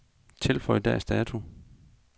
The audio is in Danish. Tilføj dags dato.